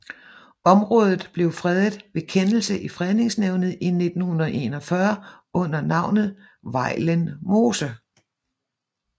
Området blev fredet ved kendelse i Fredningsnævnet i 1941 under navnet Vejlen Mose